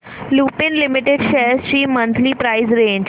Lupin limited shares ची monthly price range